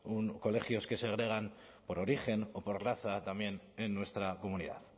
colegios que segregan por origen o por raza también en nuestra comunidad